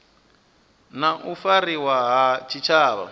na u fariwa ha tshitshavha